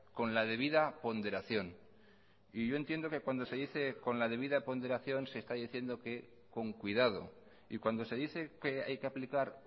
con la debida ponderación y yo entiendo que cuando se dice con la debida ponderación se está diciendo que con cuidado y cuando se dice que hay que aplicar